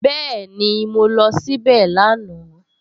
Bẹ́ẹ̀ni, mo lọ síbẹ̀ lánàá